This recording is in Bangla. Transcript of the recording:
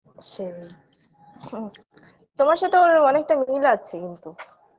সেই তোমার সথে ওর অনেকটা মিল আছে কিন্তু